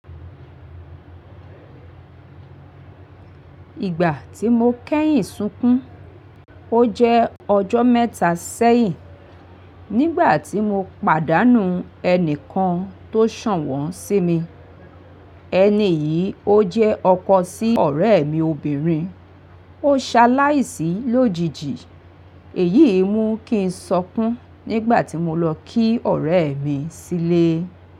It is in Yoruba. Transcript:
Ìgbà tí mo kẹ́yìn sunkún, ó jẹ́ ọjọ́ mẹ́ta sẹ́yìn. Nígbà tí mo pàdánù ẹnikan tó sànwón sí mi, ẹni yìí ó jẹ́ ọkọ sí ọ̀rẹ́ mi obìnrin. Ó ṣe aláìsí lójijì èyí mú kí n sọkún nígbà tí mo lọ kí ọ̀rẹ́ mi sílé.